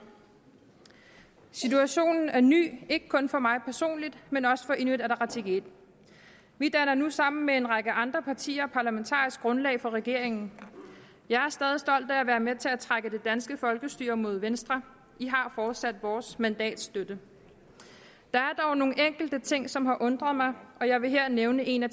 situationen er ny ikke kun for mig personligt men også for inuit ataqatigiit vi danner nu sammen med en række andre partier parlamentarisk grundlag for regeringen jeg er stadig stolt af at være med til at trække det danske folkestyre mod venstre i har fortsat vores mandats støtte der er dog nogle enkelte ting som har undret mig og jeg vil her nævne en af